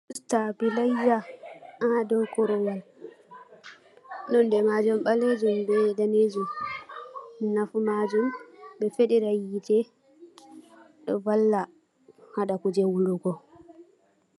Stabilizer ha dou korowal, nonde majum ɓalejum be danejum, nafu majum ɓe feɗira hitte ɗo valla haɗa kuje wulugo.